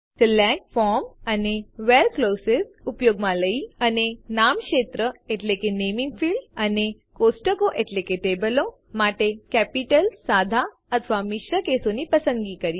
select from અને where clauses વાક્યાંશ ઉપયોગમાં લઇ અને નામ ક્ષેત્રો એટલે કે નેમીંગ ફીલ્ડ્સ અને કોષ્ટકો એટલે કે ટેબલો માટે કેપિટલસાદા અથવા મિશ્ર કેસોની પસંદગી કરીએ